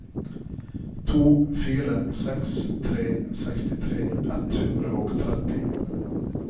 to fire seks tre sekstitre ett hundre og tretti